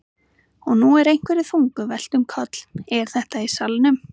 Og nú er einhverju þungu velt um koll. er þetta í salnum?